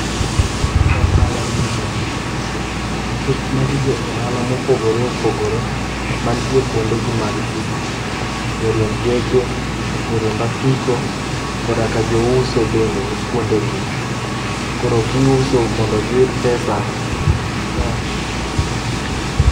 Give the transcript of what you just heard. Ohala gi mwandu nikech magi jo ohala mopogore opogore mantie kuonde gi mag tich ,joriemb geche, joriemb apiko koda ka jouso bende ni kuonde gi. Koro giuso mondo giyud pesa koa kuom ohala.